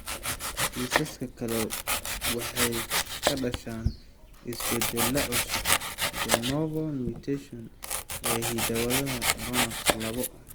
Kiisaska kale waxay ka dhashaan isbeddellada cusub (de novo mutations) ee hidda-wadaha RUNX labo.